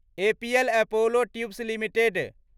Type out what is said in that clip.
APL Apollo tubes limited